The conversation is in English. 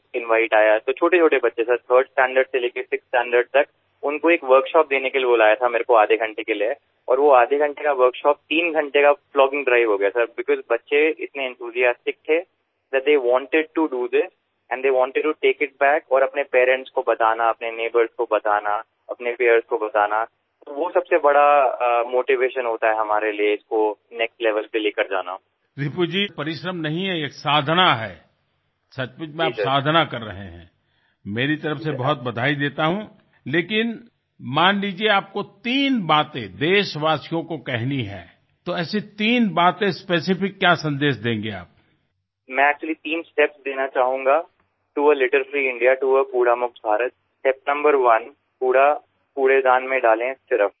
That is why you are worthy of praise